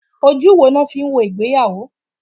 Ojú wo ni wọ́n fi ń wo ìgbéyàwó?